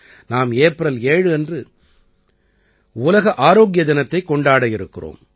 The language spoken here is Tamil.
நாம் ஏப்ரல் 7 அன்று உலக ஆரோக்கிய தினத்தைக் கொண்டாடவிருக்கிறோம்